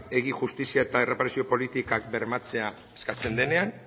justizia eta erreparazio politikak bermatzea eskatzen denean